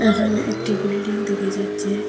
একানে একটি বিল্ডিং দেখা যাচ্ছে।